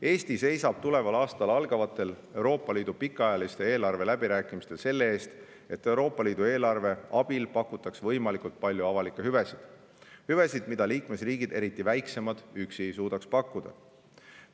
Eesti seisab tuleval aastal algavatel Euroopa Liidu pikaajalise eelarve läbirääkimistel selle eest, et Euroopa Liidu eelarve abil pakutaks võimalikult palju avalikke hüvesid, mida liikmesriigid – eriti väiksemad – üksi ei suudaks pakkuda.